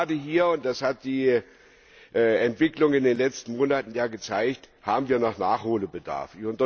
Denn gerade hier das hat die Entwicklung in den letzten Monaten ja gezeigt haben wir noch Nachholbedarf.